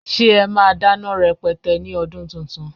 Ṣe ẹ máa dáná rẹpẹtẹ ní ọdún tuntun?